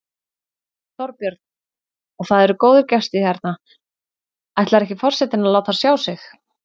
Þorbjörn: Og það eru góðir gestir hérna, ætlar ekki forsetinn að láta sjá sig?